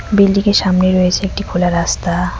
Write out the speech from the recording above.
বিল্ডিংয়ের সামনে রয়েছে একটি খোলা রাস্তা।